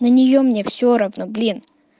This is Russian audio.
на нее мне все равно блин